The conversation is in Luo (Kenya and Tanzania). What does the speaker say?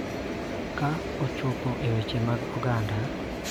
Ka ochopo e weche mag oganda .